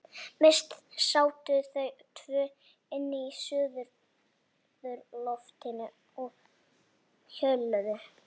Mest sátu þau tvö inni á suðurlofti og hjöluðu.